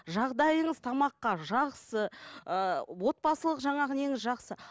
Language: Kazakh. жағдайыңыз тамаққа жақсы ы отбасылық жаңағы неңіз жақсы